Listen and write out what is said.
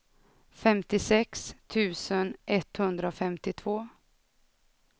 femtiosex tusen etthundrafemtiotvå